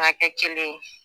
an ka kɛ kelen ye